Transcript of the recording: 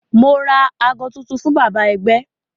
Mo ra aago tuntun fún bàbá ẹgbẹ́